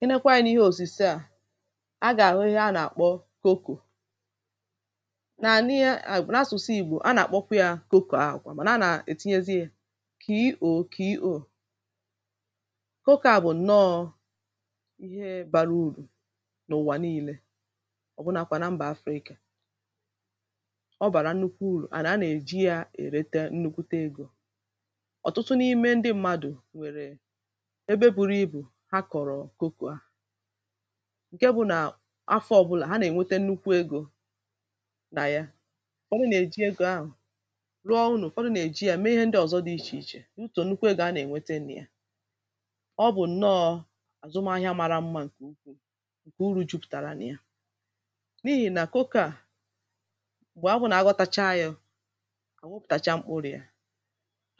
henekwa anyị n’ihe òsise à a gà-àhụ ihe a nà-àkpọ koko nà n’ihe n’asụsụ ìgbò a nà-àkpọkwa ya koko ahụ̀ kwà màna na-ànà ètinyezi yȧ kò i ò kò iȯ koko à bụ̀ ǹọọ̇ ihe bȧrȧ urù n’ụ̀wà nii̇lė ọ̀ bụrụnȧkwà na mbà africa ọ bàrà nnukwu urù àna a nà-èji ya èrete nnukwu egȯ ọ̀tụtụ n’ime ndị mmadụ̀ wèrè ebe buru ibù ǹke bụ̇ nà afọ̇ ọ̀bụlà ha nà-ènwete nnukwu egȯ nà ya ọ bụ nà-èji egȯ ahụ̀ rụọ n’ụ̀fọdụ nà-èji ya mee ihe ndị ọ̀zọ dị ichè ichè n’ụtọ̀ nnukwu egȯ a nà-ènwete nà ya ọ bụ̀ ǹnọọ̇ àzụm ahịa mara mma ǹkè ukwu̇ ǹkè uru̇ jupụ̀tàrà nà ya n’ihì nà koko a m̀gbè abụ̇nà aghotacha yȧ à wopùtàcha mkpụrị̀ a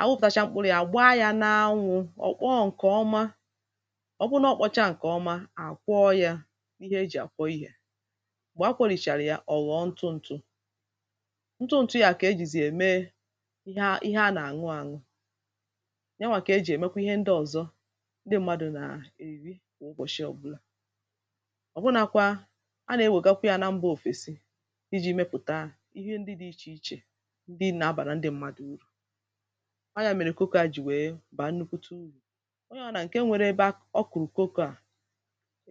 à wopùtàcha mkpụrị̀ a gbaa yȧ n’anwụ̇ ọ bụụna ọ kpọcha nke ọma à kwọ yȧ ihe ejì à kwọ ihė m̀gbè a kwori̇chàrà yȧ ọ̀wọ̀ ntụ ntụ ntụ ȧkà ejìzi ème ihe a nà-àṅụ àṅụ yȧ nwà kà ejì èmekwa ihe ndị ọ̀zọ ndị mmadụ̀ nà-èri kwà ụbọ̀shị ọ̀bụla ọ̀bụnakwa a nà-ewègakwa yȧ na mbȧ òfèsi dịjị̇ mepùta ihe ndị dị̇ ichè ichè ndị na-abà na ndị mmadụ̇ urù ahịa mèrè kokȯ à jì wèe bà nnukwuta urù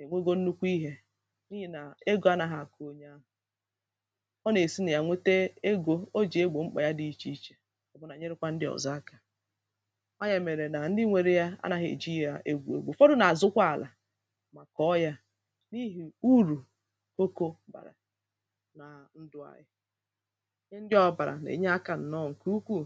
enwugo nnukwu ihė n’ihì nà egȯ anaghị̇ àkụ onye ahụ̀ ọ nà-èsi nà ya nwete egȯ o jì egbò mkpà ya dị ichè ichè ọ bụnà nyerekwȧ ndị ọ̀zọ akȧ ọ ya mèrè nà ndị nwere ya anȧghị̀ eji yȧ egwu egbu ụ̀fọdụ nà-àzụkwa àlà mà kọ̀ọ yȧ n’ihì urù okȯ bàrà nà ndụ̀ anyị̇ ndị ọ̀bàrà nà-ènye akȧ nọ ǹkè ukwuù